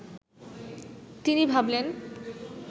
তিনি ভাবলেন